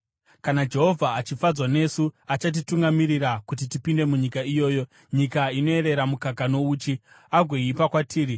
Kana Jehovha achifadzwa nesu, achatitungamirira kuti tipinde munyika iyoyo, nyika inoyerera mukaka nouchi, agoipa kwatiri.